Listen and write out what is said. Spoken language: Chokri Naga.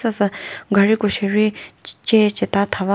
sasü gariko sheri che cheta thava.